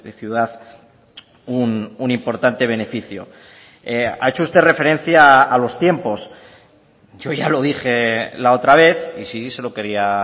ciudad un importante beneficio ha hecho usted referencia a los tiempos yo ya lo dije la otra vez y sí se lo quería